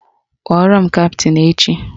Kpọrọ m kaptịn echi!